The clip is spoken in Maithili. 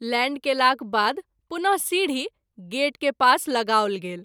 लैंड केलाक बाद पुन: सीढी गेट के पास लगाओल गेल।